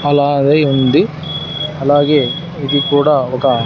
అలాగే ఉంది అలాగే ఇది కూడా ఒక --